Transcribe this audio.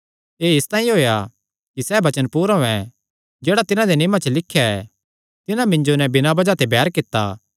एह़ इसतांई होएया कि सैह़ वचन पूरा होयैं जेह्ड़ा तिन्हां दे नियमां च लिख्या ऐ तिन्हां मिन्जो नैं बिना बज़ाह ते बैर कित्ता